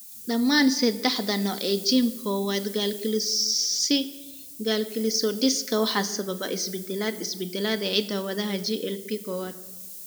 Dhammaan saddexda nooc ee GM kowaad gangliosidosika waxaa sababa isbeddellada (isbeddellada) ee hidda-wadaha GLB kowaad.